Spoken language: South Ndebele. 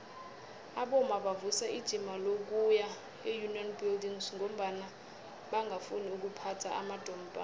abomma bavusa ijima lokuya eunion buildings ngombana bangafuni ukuphatha amadompass